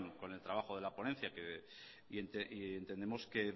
con el trabajo de la ponencia y entendemos que